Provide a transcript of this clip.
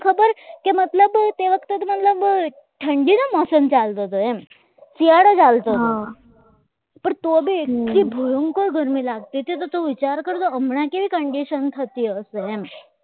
કેવો મોસમ ચાલતો તેમ શિયાળો ચાલતો હતો પણ તો આવી એટલું ભયંકર ગરમી લાગતી હતી તો તું વિચાર કર હમણાં કેવી condition થતી હશે એમ